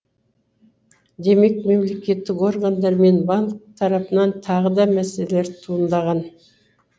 демек мемлекеттік органдар мен банк тарапынан тағы да мәселелер туындаған